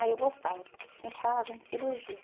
Aí eu gostava, porque sempre estava havendo cirurgia.